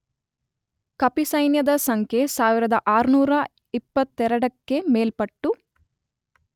ಕಪಿಸೈನ್ಯದ ಸಂಖ್ಯೆ 1622 ಕ್ಕೆ ಮೇಲ್ಪಟ್ಟು.